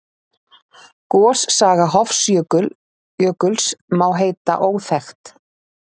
Gossaga Hofsjökuls má heita óþekkt.